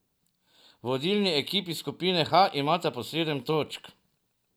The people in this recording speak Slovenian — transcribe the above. Vodilni ekipi skupine H imata po sedem točk.